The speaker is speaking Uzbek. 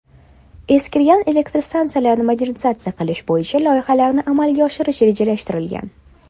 Eskirgan elektrostansiyalarni modernizatsiya qilish bo‘yicha loyihalarni amalga oshirish rejalashtirilgan.